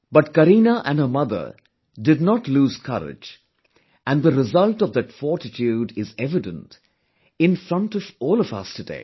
But Kareena and her mother did not lose courage and the result of that fortitude is evident in front of all of us today